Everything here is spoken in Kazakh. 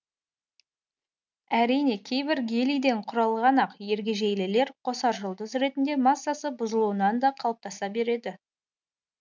әрине кейбір гелийден құралған ақ ергежейлілер қосаржұлдыз ретінде массасы бұзылуынан да қалыптаса береді